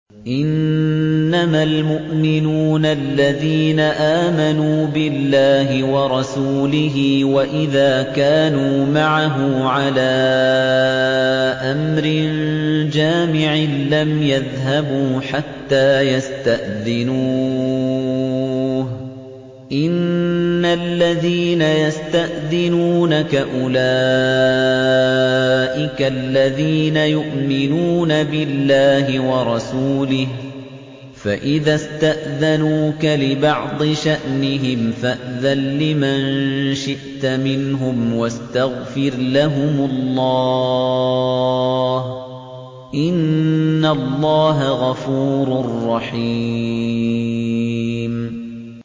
إِنَّمَا الْمُؤْمِنُونَ الَّذِينَ آمَنُوا بِاللَّهِ وَرَسُولِهِ وَإِذَا كَانُوا مَعَهُ عَلَىٰ أَمْرٍ جَامِعٍ لَّمْ يَذْهَبُوا حَتَّىٰ يَسْتَأْذِنُوهُ ۚ إِنَّ الَّذِينَ يَسْتَأْذِنُونَكَ أُولَٰئِكَ الَّذِينَ يُؤْمِنُونَ بِاللَّهِ وَرَسُولِهِ ۚ فَإِذَا اسْتَأْذَنُوكَ لِبَعْضِ شَأْنِهِمْ فَأْذَن لِّمَن شِئْتَ مِنْهُمْ وَاسْتَغْفِرْ لَهُمُ اللَّهَ ۚ إِنَّ اللَّهَ غَفُورٌ رَّحِيمٌ